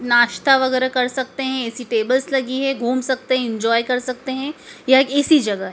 नाश्ता वगैरह कर सकते हैं ऐसी टेबल्स लगी है घूम सकते हैं इंजॉय कर सकते हैं यह ऐसी जगह है।